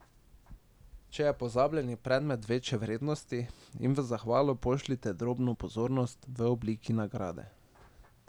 Če je pozabljeni predmet večje vrednosti, jim v zahvalo pošljite drobno pozornost v obliki nagrade.